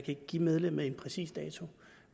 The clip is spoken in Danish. ikke give medlemmet en præcis dato